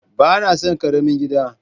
Ba na son karamin gida.